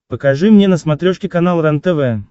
покажи мне на смотрешке канал рентв